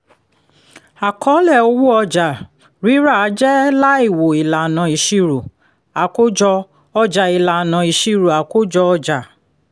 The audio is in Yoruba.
àkọọ́lẹ̀ owó ọjà-rírà jẹ́ láìwo ìlànà ìṣirò àkójọ-ọjà ìlànà ìṣirò àkójọ-ọjà